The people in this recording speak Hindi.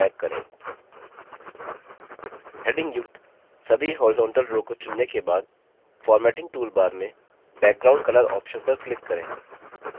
headings युक्त सभी horizontal row को चुनने के बाद formatting toolbar में background color option पर click करें